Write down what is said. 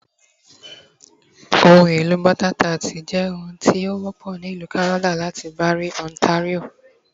Ohunelo tart bota jẹ òun ti o wọpọ ni Ilu Kanada lati Barrie, Ontario